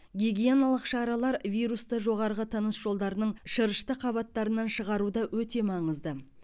гигиеналық шаралар вирусты жоғарғы тыныс жолдарының шырышты қабаттарынан шығаруда өте маңызды